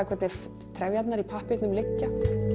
hvernig trefjarnar í pappírnum liggja